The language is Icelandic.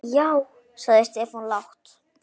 Já sagði Stefán lágt.